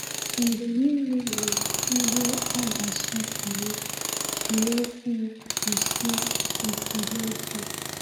Mgbe niile ị hụrụ ihe a ga-asọpụrụ, jiri okwu gosi ekele gị.